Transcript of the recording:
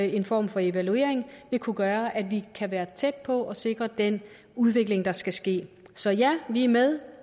en form for evaluering vil kunne gøre at vi kan være tæt på at sikre den udvikling der skal ske så ja vi er med